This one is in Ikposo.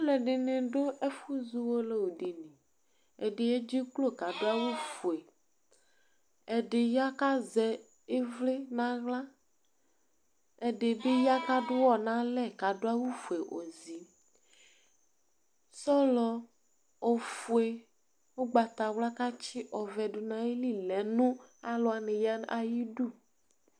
Alʋɛdɩnɩ dʋ ɛfʋzɔ uwolowu dɩ li Ɛdɩ edziklo kʋ adʋ awʋfue Ɛdɩ ya kʋ azɛ ɩvlɩ nʋ aɣla, ɛdɩ bɩ ya kʋ adʋ ʋɣɔ nʋ alɛ kʋ adʋ awʋfue ozi Sɔlɔ ofue, ʋgbatawla kʋ atsɩ ɔvɛ dʋ nʋ ayili lɛ nʋ alʋ wanɩ ya ayidu